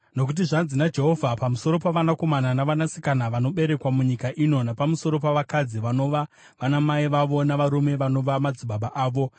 Nokuti zvanzi naJehovha, pamusoro pavanakomana navanasikana vanoberekwa munyika ino napamusoro pavakadzi vanova vanamai vavo navarume vanova madzibaba avo: